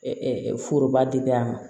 foroba dili a ma